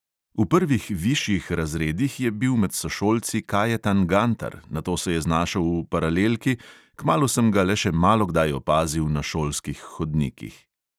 V prvih višjih razredih je bil med sošolci kajetan gantar, nato se je znašel v paralelki, kmalu sem ga le še malokdaj opazil na šolskih hodnikih.